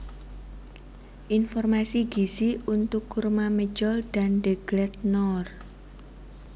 Informasi gizi untuk kurma medjool dan deglet noor